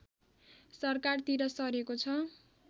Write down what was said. सरकारतिर सरेको छ